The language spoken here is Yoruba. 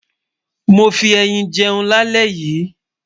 mó fí ẹyìn jẹun là lè yí